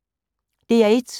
DR1